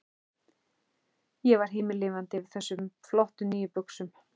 Ég var himinlifandi yfir þessum flottu, nýju buxum.